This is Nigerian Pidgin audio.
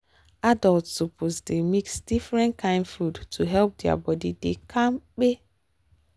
adults suppose dey mix different kain food to help their body dey kampe